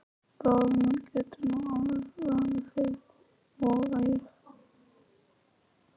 Bróðir minn getur nú alveg lamið þig, voga ég.